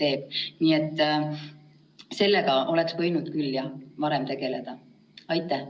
Olen pidanud nõu mitme koolijuhiga, kes on mulle kinnitanud, et neil on eelmisest aastast hea kogemus sellest, kuidas korraldada eksameid COVID-i tingimustes.